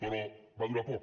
però va durar poc